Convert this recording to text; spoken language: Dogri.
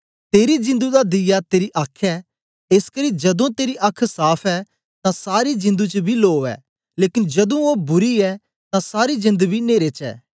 तेरी जिंदु दा दीया तेरी आख ऐ एसकरी जदूं तेरी आख साफ़ ऐ तां सारी जिंदु च बी लो ऐ लेकन जदूं ओ बुरी ऐ तां सारी जिंद बी नेरे च ऐ